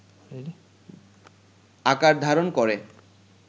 আকার ধারণ করে